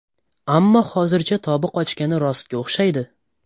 Ammo hozircha tobi qochgani rostga o‘xshaydi.